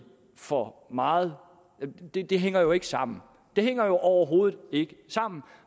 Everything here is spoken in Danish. for meget det det hænger jo ikke sammen det hænger overhovedet ikke sammen